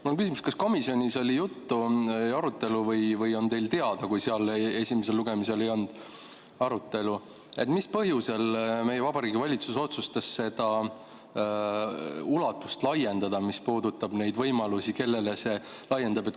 Mul on küsimus: kas komisjonis oli juttu ja arutelu või on teile teada, kui seal esimesel lugemisel ei olnud arutelu, mis põhjusel meie Vabariigi Valitsus otsustas laiendada seda ulatust, mis puudutab neid võimalusi, kellele see laieneb?